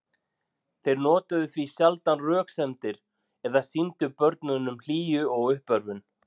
Þeir notuðu því sjaldan röksemdir eða sýndu börnunum hlýju og uppörvun.